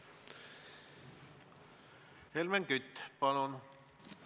Helmen Kütt, palun!